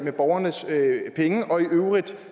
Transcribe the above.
borgernes penge og i øvrigt